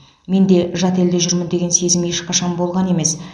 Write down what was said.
менде жат елде жүрмін деген сезім ешқашан болған емес